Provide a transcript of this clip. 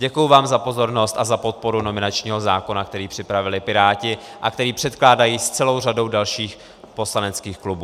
Děkuji vám za pozornost a za podporu nominačního zákona, který připravili Piráti a který předkládají s celou řadou dalších poslaneckých klubů.